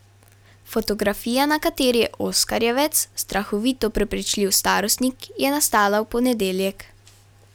Fotografija, na kateri je oskarjevec strahovito prepričljiv starostnik, je nastala v ponedeljek.